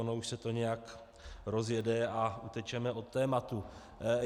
Ono už se to nějak rozjede a utečeme od tématu.